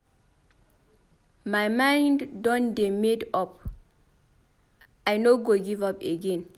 My mind don dey made up. I no go give up again.